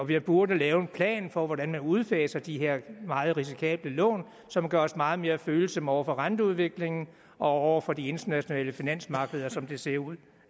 vi burde lave en plan for hvordan man udfaser de her meget risikable lån som gør os meget mere følsomme over for renteudviklingen og over for de internationale finansmarkeder som det ser ud